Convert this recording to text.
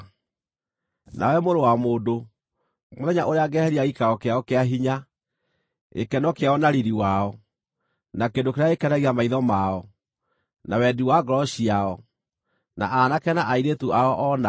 “Nawe mũrũ wa mũndũ, mũthenya ũrĩa ngeeheria gĩikaro kĩao kĩa hinya, gĩkeno kĩao na riiri wao, na kĩndũ kĩrĩa gĩkenagia maitho mao, na wendi wa ngoro ciao, na aanake na airĩtu ao o nao,